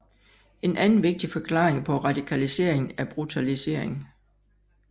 En anden vigtig forklaring på radikaliseringen er brutalisering